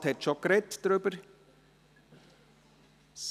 Der Regierungsrat hat bereits dazu gesprochen.